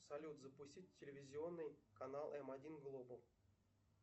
салют запустить телевизионный канал м один глобал